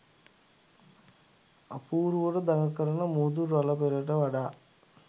අපූරුවට දඟ කරන මුහුදු රළ පෙළට වඩා